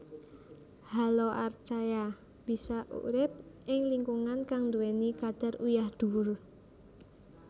Haloarchaea bisa urip ing lingkungan kang duweni kadar uyah dhuwur